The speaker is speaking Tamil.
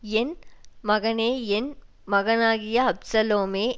என் மகனே என் மகனாகிய அப்சலோமே